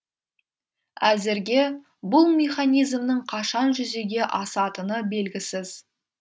әзірге бұл механизмнің қашан жүзеге асатыны белгісіз